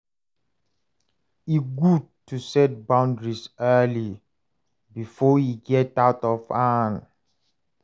E gud to set boundaries early bifor e get out of hand.